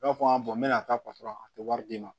I b'a fɔ n bɛna taa a tɛ wari d'i ma